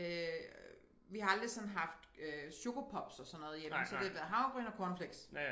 Øh vi har aldrig sådan haft øh coco pops og sådan noget hjemme så det havregryn og cornflakes